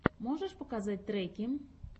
можешь показать треки